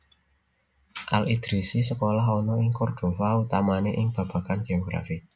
Al Idrisi sekolah ana ing Cordova utamané ing babagan géografi